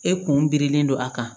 E kun birilen don a kan